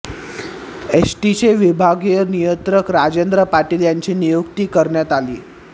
एसटीचे विभागीय नियंत्रक राजेंद्र पाटील यांची नियुक्ती करण्यात आली